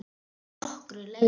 Að nokkru leyti.